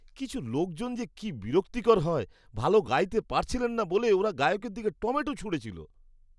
কিছু লোকজন যে কি বিরক্তিকর হয়! ভালো গাইতে পারছিলেন না বলে ওরা গায়কের দিকে টমেটো ছুঁড়েছিল।